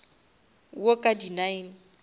wo ka di nine